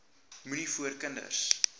moenie voor kinders